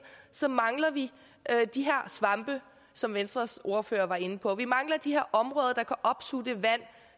så mangler vi de her svampe som venstres ordfører var inde på vi mangler de her områder der kan opsuge det vand